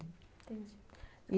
Entendi.